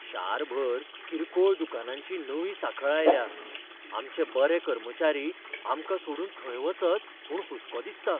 शारभर किरकोळ दुकानांची नवी सांखळ आयल्या आमचें बरे कर्मचारी आमकां सोडून थंय वचत म्हूण हुस्को दिसता.